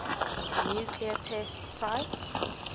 nuclear test sites